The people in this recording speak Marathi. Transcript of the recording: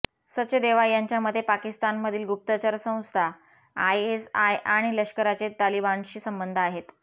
सचदेवा यांच्या मते पाकिस्तानमधील गुप्तचर संस्था आयएसआय आणि लष्कराचे तालिबानशी संबंध आहेत